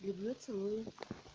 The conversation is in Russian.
люблю целую